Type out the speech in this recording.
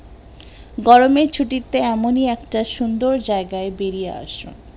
গরমে ছুটিতে এমনি একটা সুন্দর জায়গায় বেড়িয়ে আসুন